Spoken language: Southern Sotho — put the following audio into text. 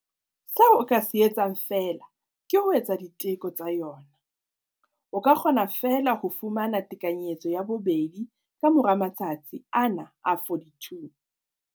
Seo o ka se etsang feela ke ho etsa diteko tsa yona. O ka kgona feela ho fumana tekanyetso ya bobedi ka mora matsatsi ana a 42.